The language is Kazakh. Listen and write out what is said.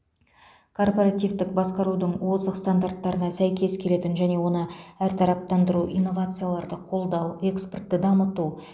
корпоративтік басқарудың озық стандарттарына сәйкес келетін және оны әртараптандыру инновацияларды қолдау экспортты дамыту